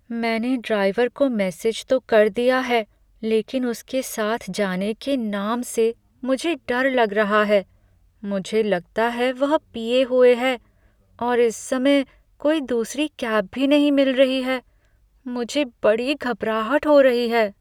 मैंने ड्राइवर को मैसेज तो कर दिया है लेकिन उसके साथ जाने के नाम से मुझे डर लग रहा है, मुझे लगता है वह पिए हुए है, और इस समय कोई दूसरी कैब भी नहीं मिल रही है। मुझे बड़ी घबराहट हो रही है।